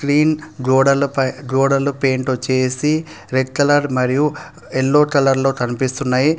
Clean గోడల పై గోడల పెయింట్ వచ్చేసి రెడ్ కలర్ మరియు ఎల్లో కలర్ లో కనిపిస్తున్నాయి.